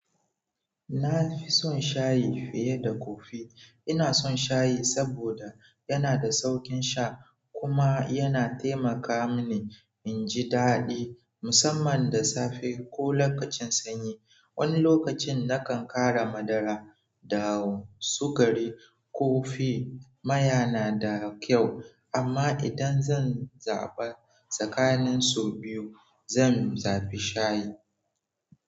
Na fi son shayi fiye da kofi. Ina son shayi saboda yana da sauƙin sha kuma yana taimaka mini in ji daɗi, musamman da safe ko lokacin sanyi. Wani lokacin nakan ƙara madara, dawo, sukari, kofi. Maya na da kyau, amma idan zan zaɓa tsakanin su biyu, zan zabi shayi.